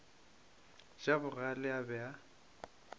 ja bogale a be a